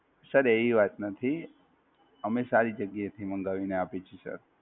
Sir એવી વાત નથી, અમે સારી જગ્યાએ થી મંગાવીને આપે છે Sir.